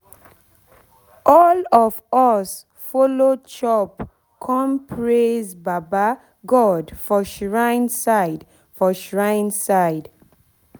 all of us follow chop corn praise baba god for shrine side for shrine side